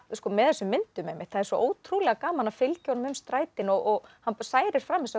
með þessum myndum einmitt það er svo ótrúlega gaman að fylgja honum um strætin og hann særir fram þessa